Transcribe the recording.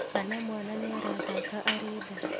Kana mwana nĩarathaka arĩ nda